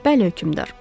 Bəli, hökümdar.